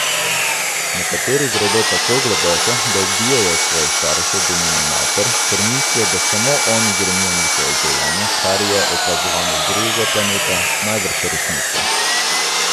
Nekateri gredo tako globoko, da ubijejo svoje starše, denimo mater, ker mislijo, da samo oni grenijo njihovo življenje, kar je, opazovano z drugega planeta, najbrž resnica.